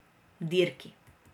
Dirki.